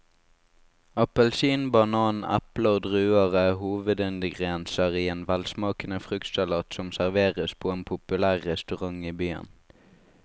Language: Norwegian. Appelsin, banan, eple og druer er hovedingredienser i en velsmakende fruktsalat som serveres på en populær restaurant i byen.